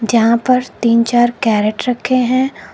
यहां पर तीन चार कैरेट रखें हैं।